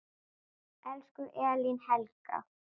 Elsku Elín Helga.